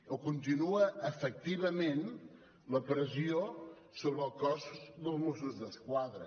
o continua efectivament la pressió sobre el cos dels mossos d’esquadra